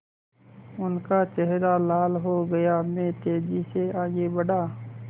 उनका चेहरा लाल हो गया मैं तेज़ी से आगे बढ़ा